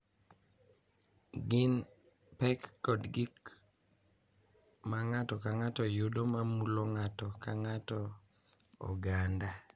Gin pek kod gik ma ng’ato ka ng’ato yudo ma mulo ng’ato ka ng’ato, oganda,